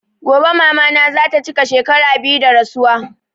Gobe mama na zata chika shekara biyu da rasuwa